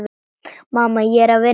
Mamma, ég er að vinna.